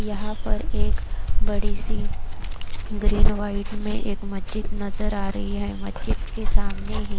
यहां पर एक बड़ी सी ग्रीन व्हाइट में एक मजित नजर आ रही है। के सामने ही--